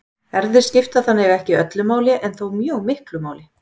erfðir skipta þannig ekki öllu máli en þó mjög miklu máli